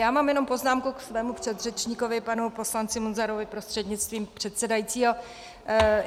Já mám jenom poznámku ke svému předřečníkovi panu poslanci Munzarovi prostřednictvím předsedajícího.